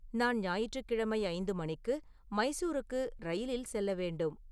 நான் ஞாயிற்றுக்கிழமை ஐந்து மணிக்கு மைசூருக்கு ரயிலில் செல்ல வேண்டும்